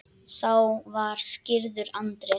Sá var skírður Andrés.